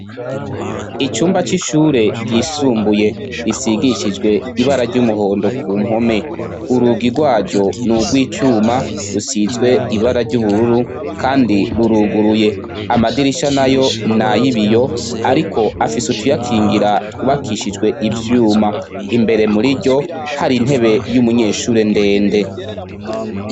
Icumba cishure ryisumbuye risigishijwe ibara ryumuhondo kumpome urugi rwaryo nurwicuma rusizwe ibara ryubururu kandi ruruguruye amadirisha nayo nayibiyo ariko afise utuyakingiye twubakishijwe ivyuma imbere muriryo hari intebe yumunyeshure ndende